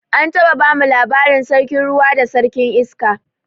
An taɓa bamu labarin sarkin ruwa da sarkin iska